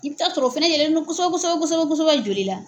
I bɛ taa sɔrɔ o fɛnɛ yɛlɛlen don kosɛbɛ kosɛbɛ kosɛbɛ kosɛbɛ joli la.